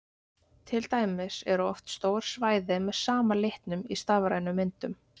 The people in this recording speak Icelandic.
til dæmis eru oft stór svæði með sama litnum í stafrænum myndum